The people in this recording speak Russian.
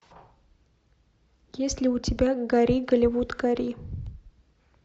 есть ли у тебя гори голливуд гори